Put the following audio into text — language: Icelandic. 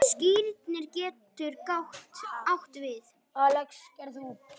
Skírnir getur átt við